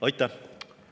Aitäh!